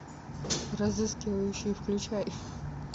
разыскивающий включай